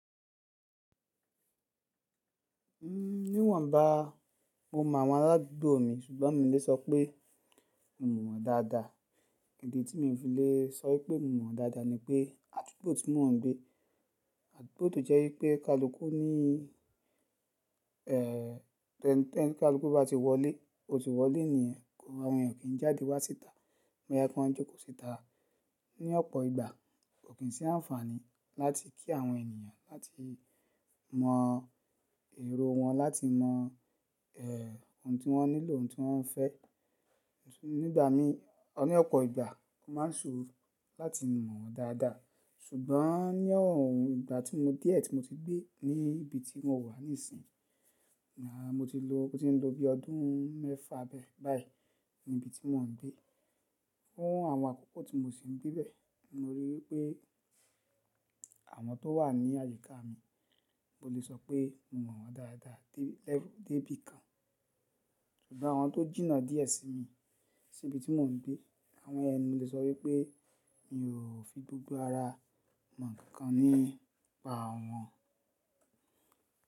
Níwọ̀n bá mo mọ àwọn arádúgbò mi ṣùgbọ́n mi o lè sọ pé mo mọ̀ wọ́n dáadáa. Idi tí mi o fi lè sọ wípé mo mọ̀ wọ́n dáadáa ní pé àdúgbò tí mò ń gbé. Àdúgbò tó jẹ́ wípé kálùkùú ní toni kálùkùú bá ti wọlé, ó ti wọlé nìyẹn, àwọn èeyan o kì í jáde wá síta. Bo ya kí wọn jókòó síta. Ni ọ̀pọ̀ ìgbà kò kín sí àǹfààní láti kí àwọn ènìyàn láti mọ èrò wọn, láti mọ ohun tí wọ́n nílò, ohun tí wọ́n fẹ́. Ni ìgbà mí, or ni ọ̀pọ̀ ìgbà o máa ń ṣòro láti mọ̀ wọ́n dáadáa. Ṣùgbọ́n ní ọ̀wọ́n ìgbà tí mo díẹ̀ tí mo ti gbé ní ibi tí mo wà nísìnyi, à mo ti lọ, mo ti ń lo bí ọdún mẹ́fà bẹ́ẹ̀ báyìí ní ibi tí mò ń gbé. Fún àwọn àkókò tí mo sì ń gbé bẹ́ẹ̀, mo ríi wípé àwọn tó wà ní àyíká mi, mo lè sọ pé mo mọ̀ wọ́n dáadáa dé lẹ́fùù, dé bí i kan. Ṣùgbọ́n àwọn tó jìnnà díẹ̀ sí mi sí ibi tí mò ń gbé, àwọn ẹni yẹn mo lè sọ wípé mi ò fi gbogbo ara mọ ǹkan kan nípa àwọn.